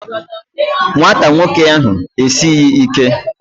Nwata nwoke ahụ esighị ike